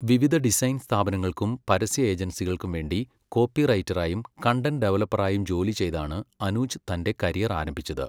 വിവിധ ഡിസൈൻ സ്ഥാപനങ്ങൾക്കും പരസ്യ ഏജൻസികൾക്കും വേണ്ടി കോപ്പിറൈറ്ററായും കണ്ടന്റ് ഡെവലപ്പറായും ജോലി ചെയ്താണ് അനൂജ് തന്റെ കരിയർ ആരംഭിച്ചത്.